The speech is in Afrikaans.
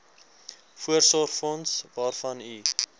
voorsorgsfonds waarvan u